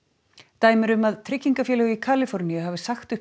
dæmi eru um að tryggingafélög í Kaliforníu hafi sagt upp